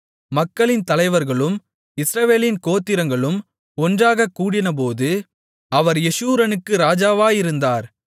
மக்களின் தலைவர்களும் இஸ்ரவேலின் கோத்திரங்களும் ஒன்றாகக்கூடினபோது அவர் யெஷூரனுக்கு ராஜாவாயிருந்தார்